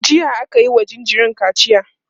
jiya akayi wa jinjirin kaciya